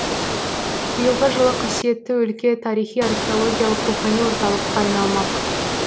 биылғы жылы қасиетті өлке тарихи археологиялық рухани орталыққа айналмақ